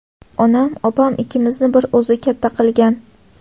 Onam opam ikkimizni bir o‘zi katta qilgan.